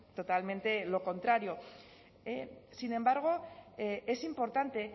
totalmente lo contrario sin embargo es importante